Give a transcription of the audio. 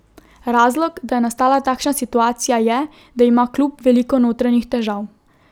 Razlog, da je nastala takšna situacija je, da ima klub veliko notranjih težav.